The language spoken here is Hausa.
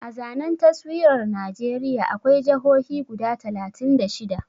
A zanen taswirar Najeriya akwai jahohi guda talatin da shida